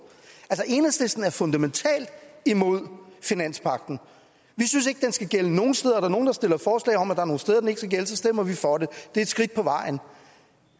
enhedslisten er fundamentalt imod finanspagten vi synes ikke at skal gælde nogen steder og er der nogen der stiller forslag om at der er nogen steder den ikke skal gælde stemmer vi for det det er et skridt på vejen